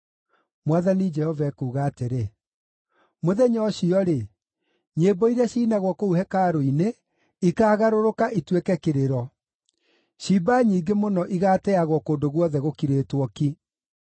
Mwathani Jehova ekuuga atĩrĩ, “Mũthenya ũcio-rĩ, nyĩmbo iria ciinagwo kũu hekarũ-inĩ ikaagarũrũka ituĩke kĩrĩro. Ciimba nyingĩ mũno igaateagwo kũndũ guothe gũkirĩtwo ki!”